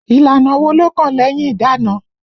Ìlànà wo ló kàn lẹ́yìn ìdána?